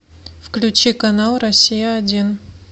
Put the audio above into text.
включи канал россия один